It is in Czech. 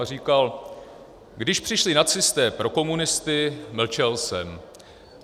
A říkal: Když přišli nacisté pro komunisty, mlčel jsem.